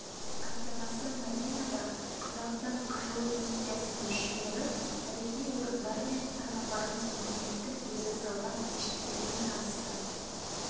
астанасы мәдинада қазақстан қажылық миссиясының мүшелері тарихи орындар мен пайғамбарымыз мұхаммедтің өзі салған мешіттерімен танысты